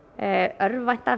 örvænta